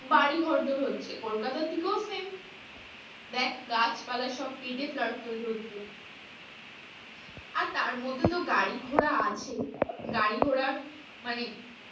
বাড়ি ঘরদোর হচ্ছে কলকাতার দিকেও same দেখ গাছপালা সব কেটে flat তৈরী হচ্ছে আর তার মধ্যে তো গাড়িঘোড়া আছেই, গাড়িঘোড়ার মানে,